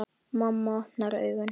Mamma opnar augun.